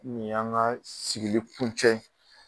Ni y' an ka sigili kun cɛ.